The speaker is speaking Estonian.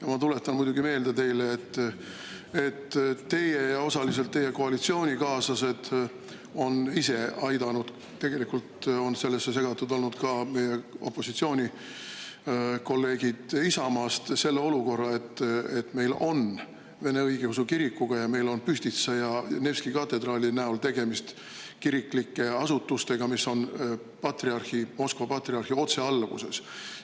Aga ma tuletan teile meelde, et teie ja osaliselt teie koalitsioonikaaslased olete ise aidanud – tegelikult on sellesse segatud olnud ka meie opositsioonikolleegid Isamaast – tekitada selle olukorra, et meil on Pühtitsa kloostri ja Nevski katedraali näol tegemist õigeusu kiriku asutustega, mis on Moskva patriarhi otsealluvuses.